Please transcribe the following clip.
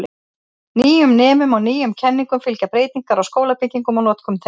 Nýjum nemum og nýjum kenningum fylgja breytingar á skólabyggingum og notkun þeirra.